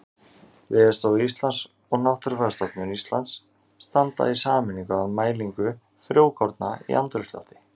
Veðurstofa Íslands og Náttúrufræðistofnun Íslands standa í sameiningu að mælingu frjókorna í andrúmslofti.